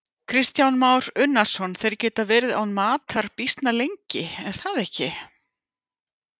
Kristján Már Unnarsson: Þeir geta verið án matar býsna lengi, er það ekki?